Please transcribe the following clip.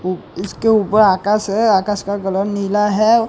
उ इसके ऊपर आकाश है आकाश का कलर निला है।